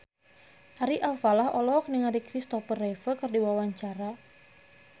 Ari Alfalah olohok ningali Kristopher Reeve keur diwawancara